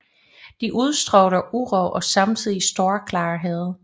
De udstråler uro og samtidig stor klarhed